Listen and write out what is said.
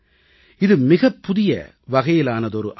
இது மிக புதிய வகையிலானதொரு அமைப்பு